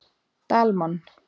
Dalmann